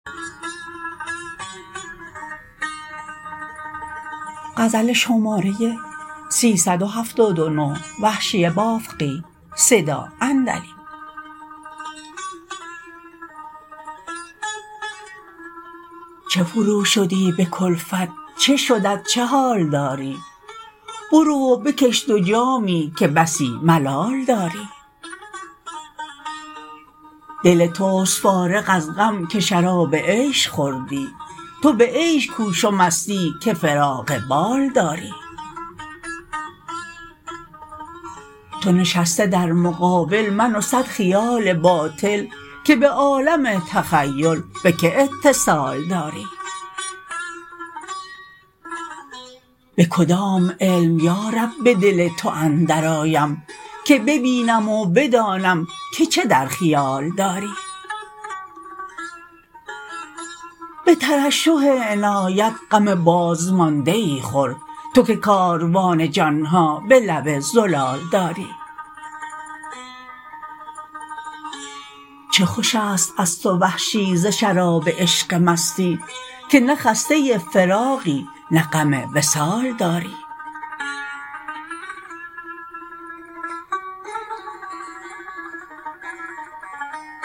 چه فروشدی به کلفت چه شدت چه حال داری برو و بکش دو جامی که بسی ملال داری دل تست فارغ از غم که شراب عیش خوردی تو به عیش کوش و مستی که فراغ بال داری تو نشسته در مقابل من و صد خیال باطل که به عالم تخیل به که اتصال داری به کدام علم یارب به دل تو اندر آیم که ببینم و بدانم که چه در خیال داری به ترشح عنایت غم باز مانده ای خور تو که کاروان جانها به لب زلال داری چه خوش است از تو وحشی ز شراب عشق مستی که نه خسته فراقی نه غم وصال داری